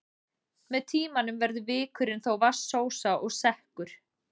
Með tímanum verður vikurinn þó vatnsósa og sekkur.